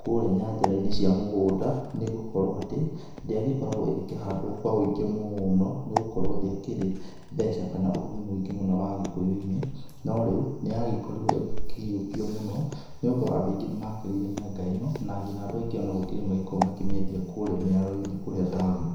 kũrĩa nyanjara-ĩnĩ cia mũgũnda nĩ gũkorwo atĩ ndĩagĩkoragwo ĩgĩkĩhandwo kwa wíĩngĩ mũno nĩ gũkorwo ndĩakĩrĩ mbeca kana ũrugi mũingĩ muno wa gĩkũyũ-ĩnĩ, no rĩu nĩ yagĩkorirwo ĩgĩkĩyũkio mũno nĩ gũkorwo andũ aingĩ nĩ makĩrĩire mĩanga ĩno na nginya andũ aingĩ ona gũkĩrĩ magĩkoragwo makĩmĩendia kũũria mĩaro-ĩnĩ, kũũria taoni.